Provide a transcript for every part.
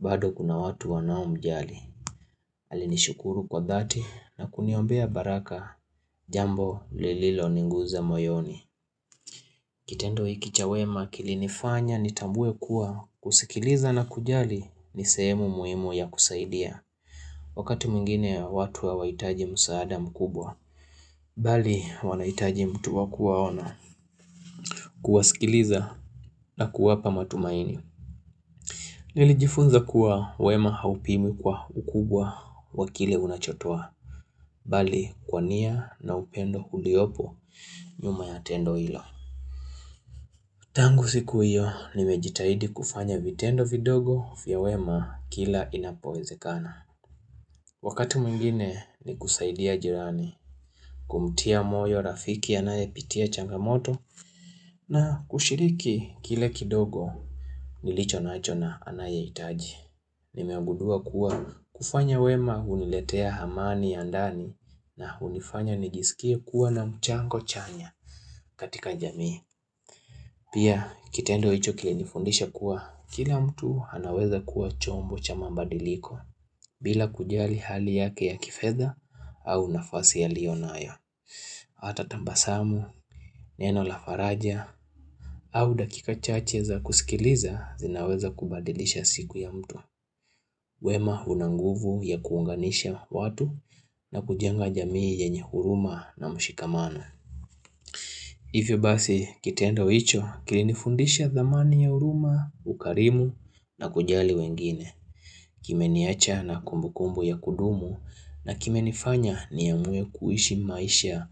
bado kuna watu wanao mjali Alinishukuru kwa dhati na kuniombea baraka jambo lililoniguza moyoni Kitendo hiki cha wema kilinifanya nitambue kuwa kusikiliza na kujali nisehemu muhimu ya kusaidia Wakati mwingine watu hawahitaji msaada mkubwa Bali wanahitaji mtu wa kuwaona kuwasikiliza na kuwapa matumaini Nilijifunza kuwa wema haupimwi kwa ukubwa wakile unachotoa Bali kwa nia na upendo uliopo nyuma ya tendo hilo Tangu siku hiyo nimejitahidi kufanya vitendo vidogo vya wema kila inapowezekana Wakati mwingine ni kusaidia jirani kumtia moyo rafiki anayepitia changamoto na kushiriki kile kidogo nilichonacho na anayehitaji Nimegundua kuwa kufanya wema huniletea amani ya ndani na hunifanya nijisikie kuwa na mchango chanya katika jamii. Pia kitendo hicho kilinifundisha kuwa kila mtu anaweza kuwa chombo cha mabadiliko bila kujali hali yake ya kifedha au nafasi alionayo. Hata tabasamu, neno la faraja au dakika chache za kusikiliza zinaweza kubadilisha siku ya mtu. Wema unanguvu ya kuunganisha watu na kujenga jamii yenye huruma na mshikamana. Hivyo basi kitendo hicho kilinifundisha dhamani ya huruma, ukarimu na kujali wengine. Kimeniacha na kumbukumbu ya kudumu na kime nifanya niamue kuishi maisha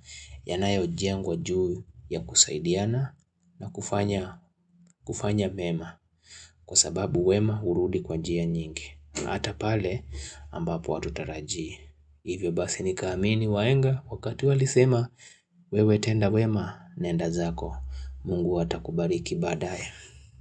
ya nayojengwa juu ya kusaidiana na kufanya mema. Kwa sababu wema urudi kwa jia nyingi. Hata pale ambapo hatutaraji Hivyo basi nikaamini wahenga Wakati walisema wewe tenda wema Nenda zako Mungu watakubariki badaye.